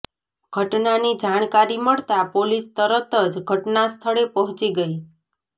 ઘટનાની જાણકારી મળતા પોલીસ તરત જ ઘટનાસ્થળે પહોંચી ગઈ